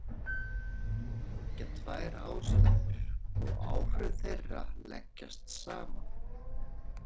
Til þess liggja tvær ástæður og áhrif þeirra leggjast saman.